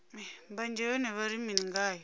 mbanzhe yone vha ri mini ngayo